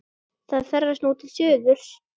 Það ferðast nú til suðurs.